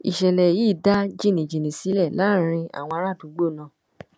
ìṣẹ̀lẹ̀ yìí dá jìnnìjìnnì sílẹ láàrin àwọn ará àdúgbò náà